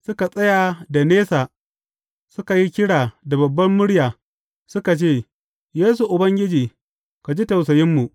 Suka tsaya da nesa, suka yi kira da babbar murya, suka ce, Yesu, Ubangiji, ka ji tausayinmu!